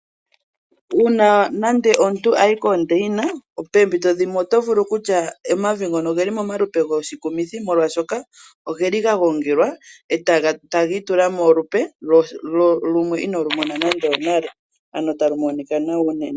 Uuna omuntu a yi koondaina poompito dhimwe oto vulu okutya omavi ngoka oge li pamalupe goshikumithi, molwashoka oga gongelwa e taga itula molupe inoo lu mona nando onale, ano taga monika nawa unene.